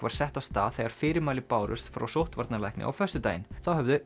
var sett af stað þegar fyrirmæli bárust frá sóttvarnalækni á föstudaginn þá höfðu